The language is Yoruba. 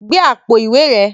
Gbe àpò ìwé rẹ